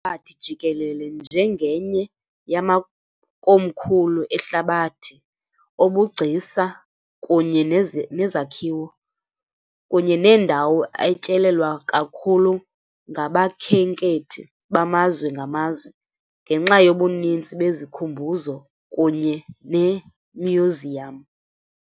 kwihlabathi jikelele njengenye yamakomkhulu ehlabathi obugcisa kunye nezakhiwo, kunye nendawo etyelelwa kakhulu ngabakhenkethi bamazwe ngamazwe, ngenxa yobuninzi bezikhumbuzo kunye neemyuziyam.